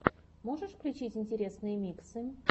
можешь включить интересные миксы